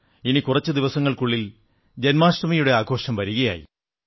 ഇനി കുറച്ചു ദിവസങ്ങൾക്കുള്ളിൽ ജന്മാഷ്ടമിയുടെ ആഘോഷം വരുകയായി